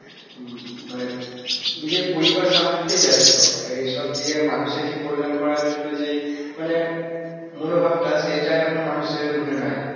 উম মানে নিজের পরিবার সামলাতেই ব্যস্ত এইসব দিয়ে মানুষের যে কল্যাণ করার জন্য যে এই মানে মনোভাবটা সেটা এখন মানুষের মনে নাই।